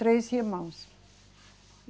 Três irmãos.